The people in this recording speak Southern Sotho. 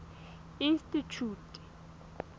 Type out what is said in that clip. institjhute